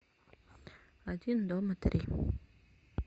один дома три